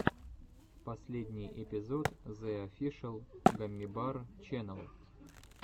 последний эпизод зе офишэл гаммибар ченнел